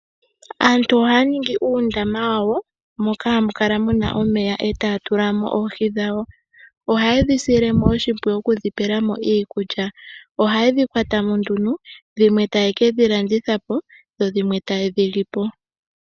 Aantu ohaya ningi uundama wawo moka hamu kala muna omeya eta ya tula mo oohi dhawo, ohaye dhi sile oshimpwiyu okudhipela mo iikulya, ohaye dhi kwatama nduno dhimwe taye kedhi landitha po dho dhimwe tayedhi lipo.